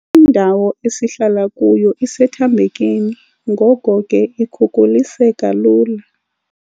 Indawo esihlala kuyo isethambekeni ngoko ke ikhukuliseka lula.